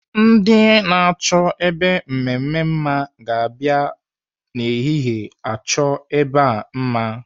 Ndị na-achọ ebe mmemme mma ga-abịa n'ehihie achọ ebe a mma.